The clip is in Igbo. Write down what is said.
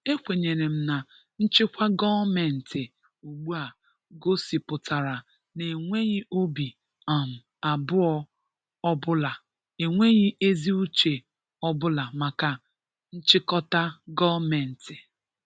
Ekwenyere m na nchịkwa gọọmentị ugbu a gosipụtara n'enweghị obi um abụọ ọ bụla enweghị ezi uche ọ bụla maka nchịkọta gọọmentị